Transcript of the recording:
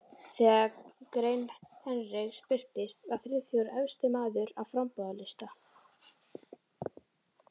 Þegar grein Hendriks birtist, var Friðþjófur efsti maður á framboðslista